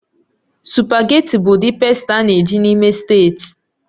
Sụpágètị̀ bụ ụdị pàsta a na-eji n'Imo steeti